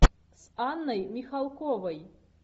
с анной михалковой